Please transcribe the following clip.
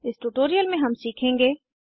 इस ट्यूटोरियल में हम सीखेंगे